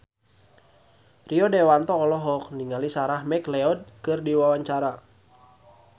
Rio Dewanto olohok ningali Sarah McLeod keur diwawancara